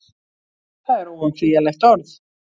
Það er óumflýjanlegt orð.